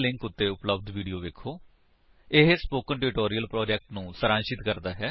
http spoken tutorial org What is a Spoken Tutorial ਇਹ spoken tutorial project ਨੂੰ ਸਾਰਾਂਸ਼ਿਤ ਕਰਦਾ ਹੈ